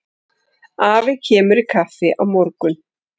Afi kemur í kaffi á morgun.